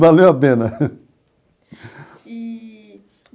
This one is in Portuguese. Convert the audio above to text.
Valeu a pena. Eee.